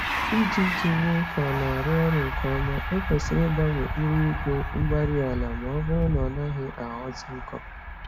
Iji Iji mee ka ọnarụ ọrụ nkè ọma, ekwesịrị igbanwe ire igwe-mgbárí-ala, mọbụrụ na ọnaghị aghọzi nkọ